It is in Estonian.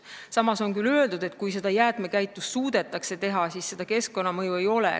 Samas on küll öeldud, et kui jäätmekäitlust suudetakse vajalikul tasemel teha, siis keskkonnamõju ei ole.